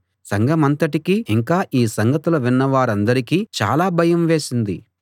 సంఘమంతటికీ ఇంకా ఈ సంగతులు విన్న వారందరికీ చాలా భయం వేసింది